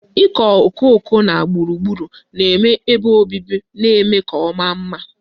Ịkọ okooko na gburugburu ebe obibi na-eme ka ọ maa mma.